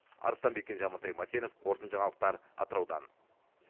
арыстанбек кенже амантай мәтенов қорытынды жаңалықтар атыраудан